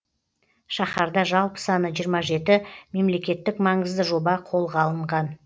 шаһарда жалпы саны жиырма жеті мемлекеттік маңызды жоба қолға алынған